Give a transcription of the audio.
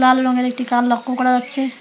লাল রঙের একটি কার লক্য করা যাচ্ছে।